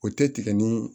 O tɛ tigɛ ni